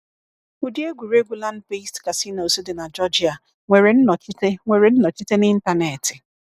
Ụdị egwuregwu Land-based casinos di na Georgia nwere nnọchite nwere nnọchite na Ịntanetị;